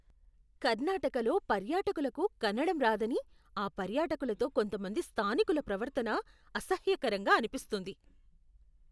కర్ణాటకలో పర్యాటకులకు కన్నడం రాదని ఆ పర్యాటకులతో కొంతమంది స్థానికుల ప్రవర్తన అసహ్యకరంగా అనిపిస్తుంది.